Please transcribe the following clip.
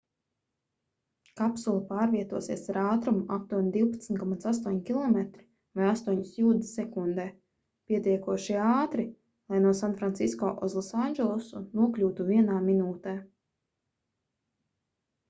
kapsula pārvietosies ar ātrumu aptuveni 12,8 km vai 8 jūdzes sekundē pietiekoši ātri lai no sanfrancisko uz losandželosu nokļūtu vienā minūtē